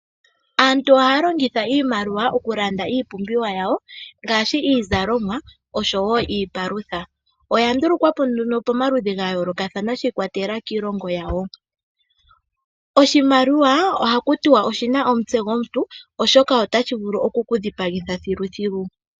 Aantu ohaya longitha iimaliwa okulanda iipumbiwa yawo, ngaashi iizalomwa oshowo iipalutha. Oya ndulukwa po nduno pamaludhi ga yoolokathana shi ikwatelela kiilongo yawo. Oshimaliwa oha kutiwa oshina omutse gwomuntu, oshoka ohashi vulu oku kudhipagitha thiluthilu.